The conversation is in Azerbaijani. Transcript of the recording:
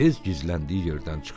Tez gizləndiyi yerdən çıxdı.